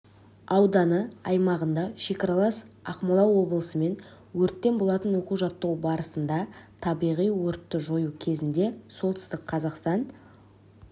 ауданы аумағында шекаралас ақмола облысымен өрткен болатын оқу-жаттығу барысында табиғи өртті жою кезінде солтүстік қазақстан